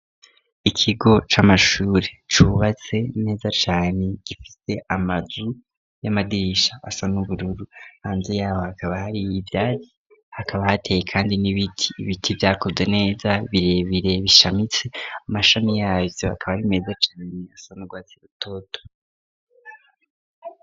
Ikigo c'amashuri cubatse neza cane gifise amazu y'amadirisha asa n'ubururu hanze yaho hakaba hari ivyatsi hakaba hateye kandi n'ibiti, ibiti vyakuze neza birebire bishamitse amashami yavyo akaba ari meza cane asa n'urwatsi rutoto.